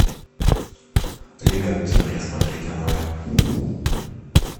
лига октября смотреть онлайн